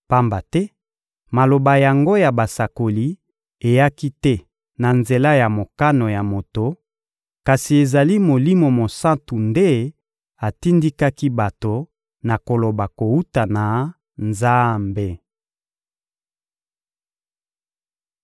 pamba te maloba yango ya basakoli eyaki te na nzela ya mokano ya moto, kasi ezali Molimo Mosantu nde atindikaki bato na koloba kowuta na Nzambe.